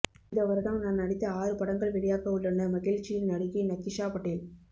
இந்த வருடம் நான் நடித்த ஆறு படங்கள் வெளியாகவுள்ளன மகிழ்ச்சியில் நடிகை நிகிஷா பட்டேல்